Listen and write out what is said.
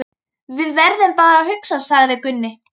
Við verðum bara að hugsa, sagði Gunni.